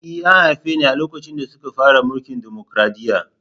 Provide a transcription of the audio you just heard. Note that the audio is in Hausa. E, an haife ni a lokacin da suka fara mulkin dimokuradiyya.